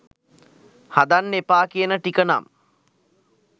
හදන්න එපා කියන ටික නම්